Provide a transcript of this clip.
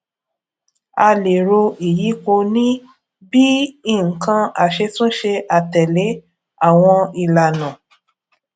a lè ro ìyípo ní bíi nǹkan aṣetúnṣe àtèlè awon ìlànà